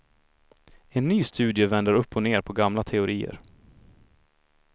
En ny studie vänder upp och ned på gamla teorier.